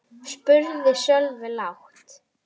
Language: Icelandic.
Það var dálítið langt seilst.